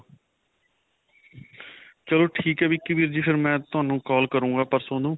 ਚਲੋ ਠੀਕ ਹੈ ਵਿਕੀ ਵੀਰ ਜੀ, ਫਿਰ ਮੈਂ ਤੁਹਾਨੂੰ call ਕਰਾਂਗਾ ਪਰਸੋਂ ਨੂੰ.